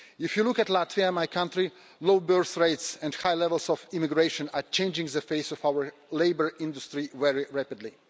If you look at Latvia, my country, low birth rates and high levels of emigration are changing the face of our labour industry very rapidly.